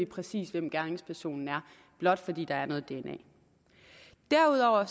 præcis hvem gerningspersonen er blot fordi der er noget dna derudover